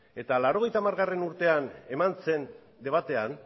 eta mila bederatziehun eta laurogeita hamargarrena urtean eman zen debatean